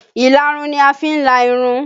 Ìlarun ni a fi ń la irun